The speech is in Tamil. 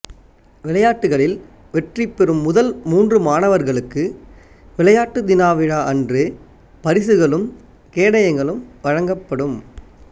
விளையாட்டுக்களில் வெற்றிபெறும் முதல் மூன்று மாணவர்களுக்கு விளையாட்டு தினவிழா அன்று பரிசுகளும் கேடயங்களும் வழங்கப்படும்